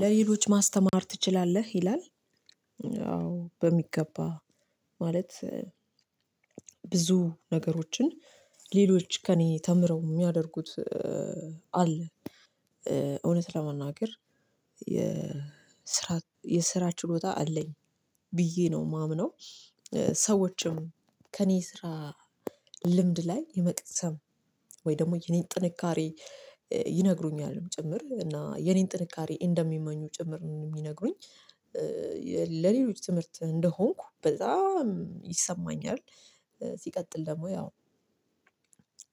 ለሌሎች ማስተማር ትችላለህ? ይላል አዎ በሚገባ፥ ማለት ብዙ ነገሮችን ሌሎች ከእኔ ተምረው የሚያደርጉት አሉ፣ እውነት ለመናገር የስራ የስራ ችሎታ አለኝ ብዬ ነው የማምነው ሰዎችም ከእኔ ስራ ልምድ ላይ የመቅሰም ወይ ደግሞ የኔን ጥንካሬ ይነግሩኛል ጭምር እና የኔን ጥንካሬ እንደሚመኙ ጭምር ነው የሚነግሩኝ፣ ለሌሎች ትምህርት እንደሆንኩ በጣም ይሰማኛል። ሲቀጥል ደግሞ ያው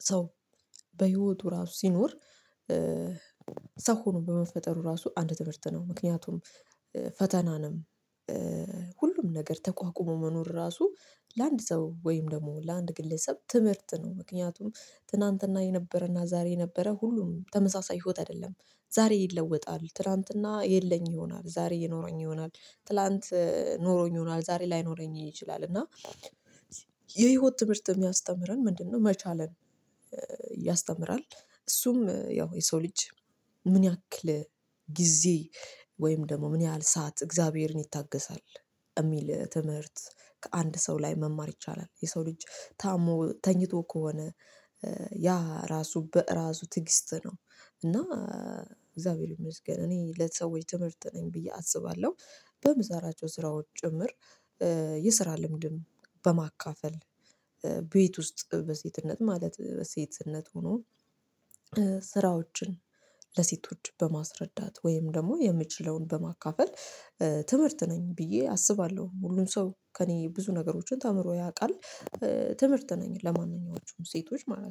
ሰው በህይወቱ ራሱ ሲኖር ሰው ሆኖ በመፈጠሩ ራሱ አንድ ትምህርት ነው ምክንያቱም ፈተናን፣ ሁሉም ነገር ተቋቁሞ መኖር ራሱ ለአንድ ሰው ወይም ደግሞ ለአንድ ግለሰብ ትምህርት ነው። ምክንያቱም ትላንትና የነበረና ዛሬ የነበረ ሁሉም ተመሳሳይ ሆት አይደለም ዛሬ ይለወጣል ትላንትና የለኝ ይሆናል ዛሬ የኖረኝ ይሆናል ትላንት ኖሮኝ ይሆናል ዛሬ ላይኖረኝ ይችላል እና የህይወት ትምህርት የሚያስተምረን ምንድነው? መቻለን ያስተምራል እሱም ያው የሰው ልጅ ምን ያክል ጊዜ ወይም ደግሞ ምን ያህል ሰዓት እግዚአብሔርን ይታገሳል? ኤሚል ትምህርት ከአንድ ሰው ላይ መማር ይቻላል የሰው ልጅ ታሞ ተኝቶ ከሆነ፣ ያ ራሱ በራሱ ትዕግስት ነው። እና እግዚአብሔር ይመስገን እኔ ለሰዎች ትምህርት ነኝ ብዬ አስባለሁ። በምሰራቸው ስራዎች ጭምር የስራ ልምድም በማካፈል፤ ቤት ውስጥ በሴትነት ማለት በሴትነት ሆኖ ስራዎችን ለሴቶች በማስረዳት፤ ወይም ደግሞ የምችለውን በማካፈል ትምህርት ነኝ ብዬ አስባለሁ ሁሉም ሰው ከእኔ ብዙ ነገሮችን ተምሮ ያውቃል። ትምህርት ነኝ ለማንኛዎቹም ሴቶች ማለት ነው።